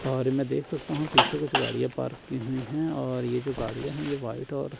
और मैं देख सकता हूँ पीछे कुछ गाड़ियाॅं पार्क की हुई हैं और ये जो कुछ गाड़ियाॅं हैं यह व्हाईट और --